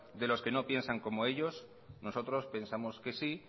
de los que no piensan como ellos nosotros pensamos que sí